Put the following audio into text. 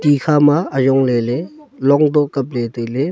ikha ma ajong lele long toh kapley tailey.